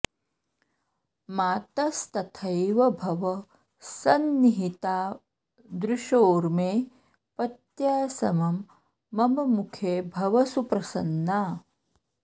मातस्तथैव भव सन्निहिता दृशोर्मे पत्या समं मम मुखे भव सुप्रसन्ना